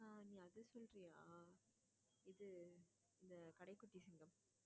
ஆஹ் நீ அத சொல்றியா இது இந்த கடைக்குட்டி சிங்கம்